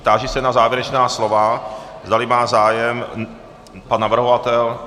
Táži se na závěrečná slova, zdali má zájem pan navrhovatel.